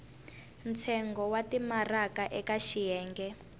ntsengo wa timaraka eka xiyenge